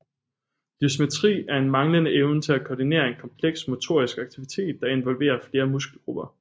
Dysmetri er en manglende evne til at koordinere en kompleks motorisk aktivitet der involverer flere muskelgrupper